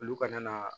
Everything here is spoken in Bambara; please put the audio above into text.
Olu kana na